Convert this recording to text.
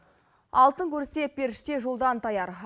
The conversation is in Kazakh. алтын көрсе періште жолдан таяр